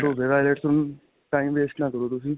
ਕਰੋ ਹੁਣ time waste ਨਾਂ ਕਰੋਂ ਤੁਸੀਂ .